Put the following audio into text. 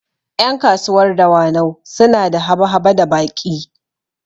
Ƴan kasuwar dawanau suna da haba-haba da baƙi